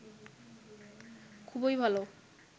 খুবই ভালো